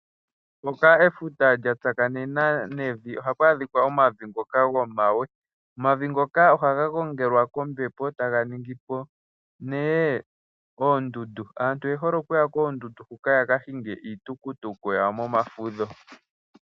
Mpoka efuta lya tsakanena nevi ohapu adhika omavi gomawe ngono haga gongela kombepo e taga etapo oondundu. Aantu oye hole okuya koondundu hoka yaka hinge iitukutuku yawo momafudho.